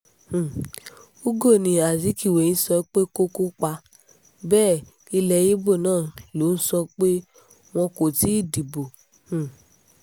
um ugou ni azikiwe ń sọ pé kó kópa bẹ́ẹ̀ ilé ibo náà ló ń sọ pé wọn kò ti dìbò um